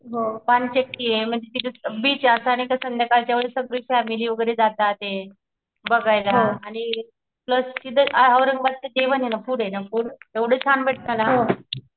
पाणचक्कीये बीच आता आणि क संध्याकाळच्यावेळी सगळी फॅमिली वगरे जाताते बघायला आणि प्लस तिथेऔरंगाबादचं जेवणे ना फुडें ना फूड भेटत ना.